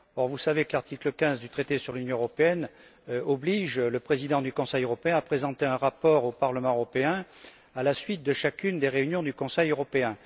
Or, vous savez que l'article 15 du traité sur l'Union européenne oblige le président du Conseil européen à présenter un rapport au président du Parlement européen à la suite de chacune des réunions du Conseil européen.